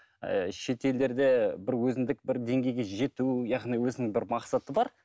ыыы шетелдерде бір өзіндік бір деңгейге жету яғни өзінің бір мақсаты бар